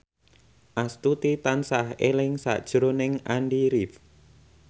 Astuti tansah eling sakjroning Andy rif